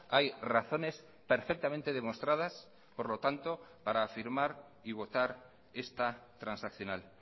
hay razones perfectamente demostradas por lo tanto para afirmar y votar esta transaccional